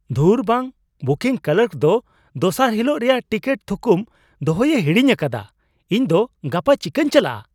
ᱫᱷᱩᱨ ᱵᱟᱝ ! Booking clerk ᱫᱚ ᱫᱚᱥᱟᱨ ᱦᱤᱞᱳᱜ ᱨᱮᱭᱟᱜ ᱴᱤᱠᱤᱴ ᱛᱷᱩᱠᱩᱢ ᱫᱚᱦᱚᱭᱮ ᱦᱤᱲᱤᱧ ᱟᱠᱟᱫᱟ ᱾ ᱤᱧ ᱫᱚ ᱜᱟᱯᱟ ᱪᱤᱠᱟᱹᱛᱤᱧ ᱪᱟᱞᱟᱜᱼᱟ?